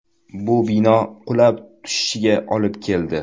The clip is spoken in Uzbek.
Bu bino qulab tushishiga olib keldi.